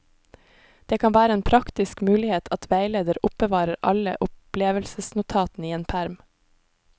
Det kan være en praktisk mulighet at veileder oppbevarer alle opplevelsesnotatene i en perm.